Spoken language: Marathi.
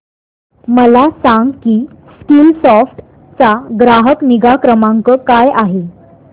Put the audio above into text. मला सांग की स्कीलसॉफ्ट चा ग्राहक निगा क्रमांक काय आहे